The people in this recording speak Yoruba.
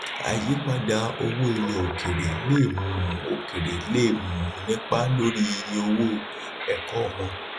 àyípadà owó ilẹ òkèèrè le um òkèèrè le um nípa lórí iye owó ẹkọ wọn